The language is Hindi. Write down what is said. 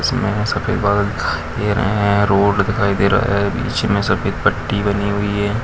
इसमें सफेद बादल दिखाई दे रहें हैं रोड दिखाई दे रहा है। बीच में सफेद पट्टी बनी हुई है।